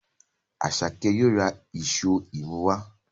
Asake yóò rà Èṣó imú wá.